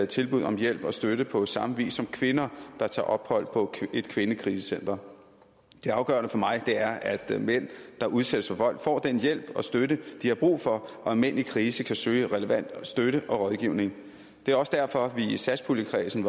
tilbud om hjælp og støtte på samme vis som kvinder der tager ophold på et kvindekrisecenter det afgørende for mig er at mænd der udsættes for vold får den hjælp og støtte de har brug for og at mænd i krise kan søge relevant støtte og rådgivning det er også derfor vi i satspuljekredsen